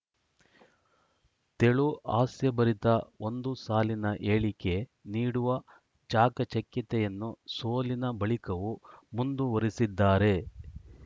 ತೆಳುಹಾಸ್ಯ ಭರಿತ ಒಂದು ಸಾಲಿನ ಹೇಳಿಕೆ ನೀಡುವ ಚಾಕಚಕ್ಯತೆಯನ್ನು ಸೋಲಿನ ಬಳಿಕವೂ ಮುಂದುವರಿಸಿದ್ದಾರೆ